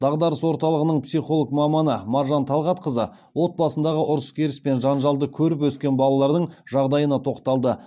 дағдарыс орталығының психолог маманы маржан талғатқызы отбасындағы ұрыс керіс пен жанжалды көріп өскен балалардың жағдайына тоқталды